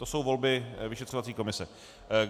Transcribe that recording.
To jsou volby vyšetřovací komise.